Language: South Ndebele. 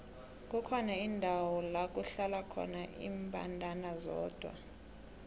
kukhona indawo lakuhlala khona imbandana zodwa